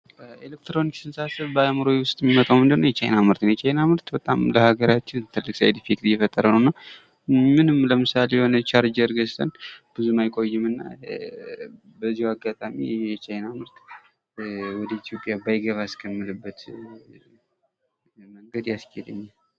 ኤሌትሮኒክስን ሳስብ በአእምሮየ ውስጥ ሚመጣው ምንድን ነው የቻይና ምርት ነው ። የቻይና ምርት ለሀገራችን በጣም ትልቅ ሳይድ ኢፌክት እየፈጠረ ነው እና ምንም ለምሳሌ የሆነ ቻርጀር ገዝተን ብዙም አይቆይም እና በዚህ አጋጣሚ የቻይና ምርት ወደ ኢትዮጵያ ባይገባ እስከምልበት መንገድ ያስኬደኛል ።